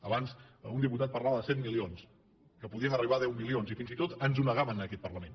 abans un diputat parlava de set milions que podien arribar a deu milions i fins i tot ens ho negaven en aquest parlament